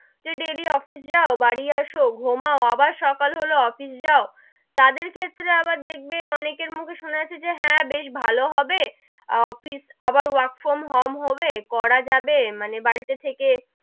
যে daily office যাও বাড়ি আসো ঘুমাও আবার সকাল হলো office যাও, তাদের ক্ষেত্রে আবার দেখবে অনেকের মুখে সোনা যাচ্ছে যে হেঁ, বেশ ভালো হবে, office আবার work from home হবে করা যাবে মানে বাড়ি তে থেকে,